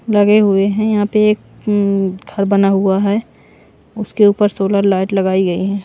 लगे हुए हैं यहां पे एक हम्म घर बना हुआ है उसके ऊपर सोलर लाइट लगाई गई ।